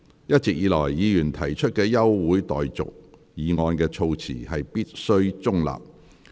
一直以來，議員提出的休會待續議案的措辭必須中立。